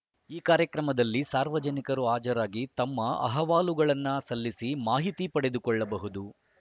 ಈ ಕಾರ್ಯಕ್ರಮದಲ್ಲಿ ಸಾರ್ವಜನಿಕರು ಹಾಜರಾಗಿ ತಮ್ಮ ಅಹವಾಲುಗಳನ್ನು ಸಲ್ಲಿಸಿ ಮಾಹಿತಿ ಪಡೆದುಕೊಳ್ಳಬಹುದು